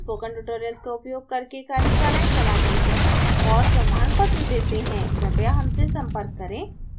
please contact us हम spoken tutorials का उपयोग करके कार्यशालाएं चलाते हैं और प्रमाणत्र देते हैं कृपया हमसे संपर्क करें